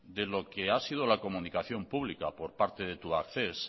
de lo que ha sido la comunicación pública por parte de tubacex